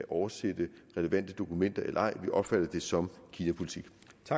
oversætte relevante dokumenter eller ej vi opfatter det som kinapolitik